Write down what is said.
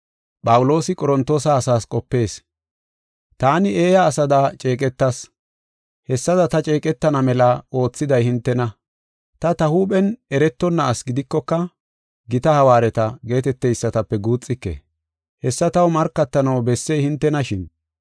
Taani eeya asada ceeqetas. Hessada ta ceeqetana mela oothiday hintena. Ta, ta huuphen eretonna asi gidikoka, “Gita hawaareta” geeteteysatape guuxike. Hessa taw markatanaw bessey hintenashin.